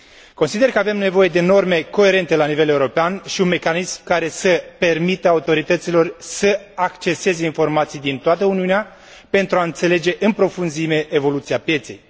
Consider că avem nevoie de norme coerente la nivel european și de un mecanism care să permită autorităților să acceseze informații din toată Uniunea pentru a înțelege în profunzime evoluția pieței.